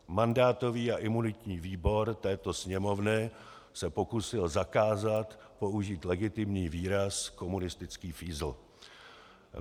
Mandátový a imunitní výbor této Sněmovny se pokusil zakázat použít legitimní výraz komunistický fízl.